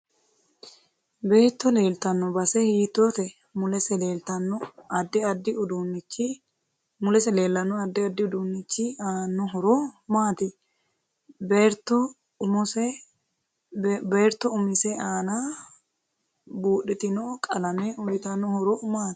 Beetto leeltanno base hiitoote mulese leelanno addi addi uduunichi aanno horo maati bertto umise aana budhitino qalame uyiitanno horo maati